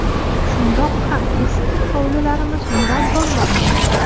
Shundoq ham eski hovlilarimiz nurab bormoqda.